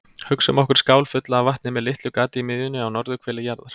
Hugsum okkur skál fulla af vatni með litlu gati í miðjunni á norðurhveli jarðar.